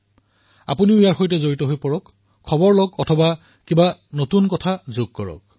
আপোনালোক নিশ্চয়কৈ ইয়াৰ সৈতে জড়িত হওক তথ্য লাভ কৰক কিছু নতুন সংযোজন কৰক